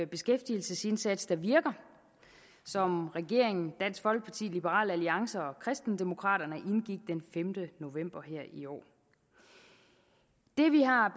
beskæftigelsesindsats der virker som regeringen dansk folkeparti liberal alliance og kristendemokraterne indgik den femte november her i år det vi har